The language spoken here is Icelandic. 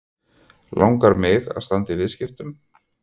Langar mig að standa í viðskiptum?